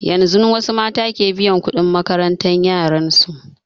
Yanzun wasu mata ke biyan kuɗin makaranta yaran su